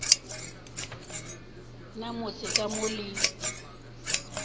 na motse ka mo le